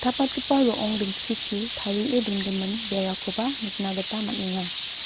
stapatgipa ro·ong ginchichi tarie dongimin berakoba nikna gita man·enga.